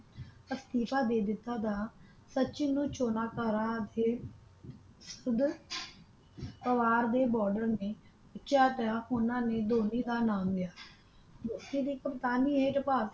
ਇਸਤੀਫ਼ਾ ਦੇ ਦਿਤਾ ਤਾ ਸਚਿਨ ਨੂੰ ਚੋਣਕਾਰਾਂ ਅਤੇ ਖੁਦ ਪਵਾਰ ਦੇ ਬੋਡਰ ਨੇ ਸੋਚਿਆ ਤੇ ਓਹਨਾ ਨੇ ਧੋਨੀ ਦਾ ਨਾਮ ਲਿਆ ਇਸੇ ਦੀ ਕਪਤਾਨੀ ਇਹ ਜਬਆ